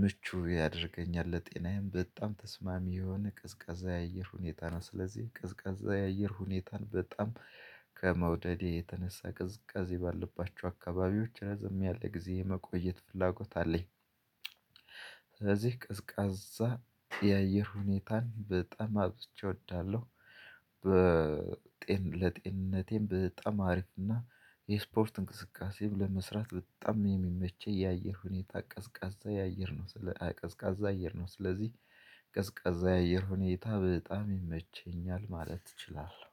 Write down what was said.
ምቹ ያደርገኛል ለጤናዬም በጣም ተስማሚ የሆነ ቅዝቃዛ የአየር ሁኔታ ነው። ስለዚህ ቅዝቃዛ የአየር ሁኔታን በጣም ከመውደዴ የተነሳ ቅዝቀዜ ባለባቸው አካባቢዎች ረዘም ያለ ጊዜ የመቆየት ፍላጎት አለኝ። ስለዚህ ቀዝቃዛ የአየር ሁኔታን በጠም አብዝቼ እወዳለሁ። በጤን ለጤንነቴም በጣም አሪፍ እና የስፖርት እንቅስቃሴም ለመስራት በጣም የሚመቸኝ የአየር ሁኔታ ቀዝቃዛ የአየር ቀዝቃዛ አየር ነው። ስለዚህ ቀዝቃዛ የአየር ሁኔታ በጣም ይመቸኛል ማለት እችላለሁ